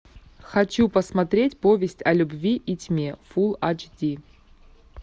хочу посмотреть повесть о любви и тьме фул ач ди